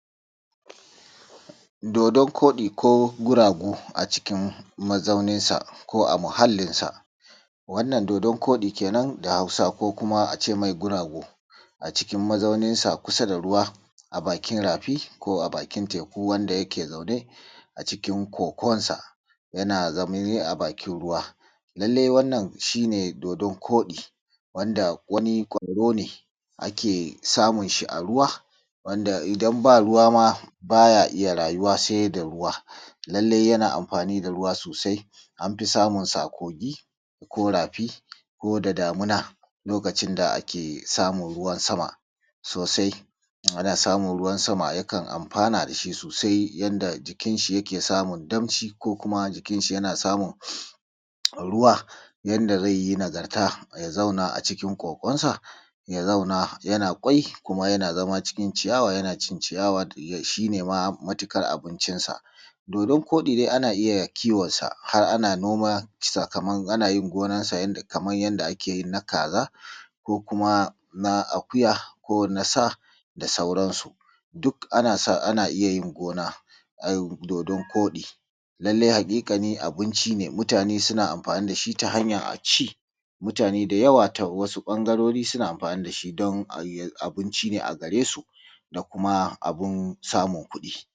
dodon koɗi ko guragu a cikin mazaunin sa ko a muhallin sa wannan dodon koɗi kenan a hausa ko ace mai guragu a cikin mazaunin sa kusa da ruwa a bakin rafi ko a bakin teku wanda yake zaune a cikin kogo yana zama ne a bakin ruwa lallai wannan shi ne dodon koɗi wanda wani kwaɗo ne ake samun shi a ruwa wanda idan ba ruwa ma baya iya rayuwa sai da ruwa lallai yana amfani da ruwa sosai anfi samun sa a kogi ko rafi ko da damina lokacin da ake samun ruwan sama sosai wanda samun ruwan sama yakan amfana dashi sosai yanda jikin shi yake samun damshi ko kuma jikin sa yana samun ruwa yanda zai yi nagarta yazauna a cikin ƙoƙon sa ya zauna yana ƙwai kuma yana zama cikin ciyawa yana cin ciyawa shi ne ma matuƙar abincin sa dodon koɗi dai ana iya kiwon sa har ana noma sakamakon ana yin gonar sa kaman yanda ake yin na kaza ko kuma na akuya ko na sa da sauran su duk ana iya yin gonaai dodon koɗi lallai haƙiƙanin abinci ne mutane suna amfani dashi ta hanyar aci mutane da yawa ta wasu ɓangarori dashi don ayi abinci ne a gare su da kuma anun samun